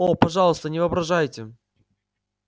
о пожалуйста не воображайте